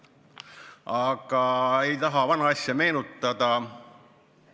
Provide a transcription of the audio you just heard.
Aga ma ei taha vana asja meenutada.